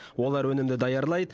олар өнімді даярлайды